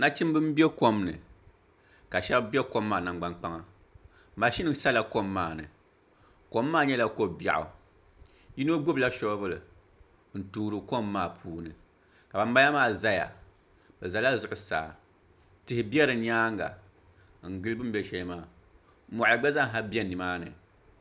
Nachimbi n bɛ kom ni ka shab bɛ kom maa nangbani kpaŋa mashin biɛla kom maa ni kom maa nyɛla ko biɛɣu yino gbubila shoovul n toori kom maa puuni ka banbala maa ʒɛya bi ʒɛla zuɣusaa tihi bɛ di nyaanga n gili din bɛ shɛm maa moɣali gba zaa bɛ nimaani